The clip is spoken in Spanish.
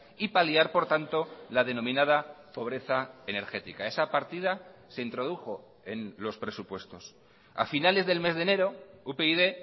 y paliar por tanto la denominada pobreza energética esa partida se introdujo en los presupuestos a finales del mes de enero upyd